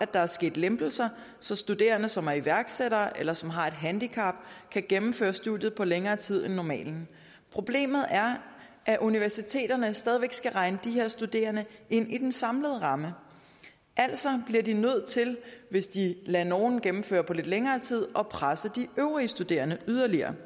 der er sket lempelser så studerende som er iværksættere eller som har et handicap kan gennemføre studiet på længere tid end normalt problemet er at universiteterne stadig væk skal regne de her studerende ind i den samlede ramme altså bliver de nødt til hvis de lader nogle gennemføre på lidt længere tid at presse de øvrige studerende yderligere